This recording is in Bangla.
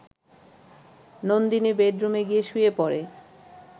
নন্দিনী বেডরুমে গিয়ে শুয়ে পড়ে